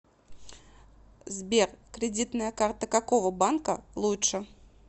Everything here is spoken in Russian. сбер кредитная карта какого банка лучше